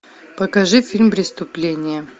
покажи фильм преступление